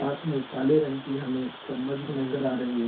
साथ में काले रंग की हमें चम्मच भी नजर आ रही है |